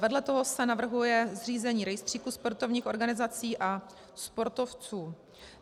Vedle toho se navrhuje zřízení rejstříku sportovních organizací a sportovců.